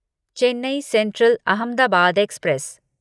Chennai Central Ahmedabad express